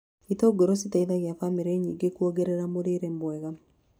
Itũngũrũ citeithagĩa bamĩrĩ nyingĩ kuongerera mũrĩre mwega.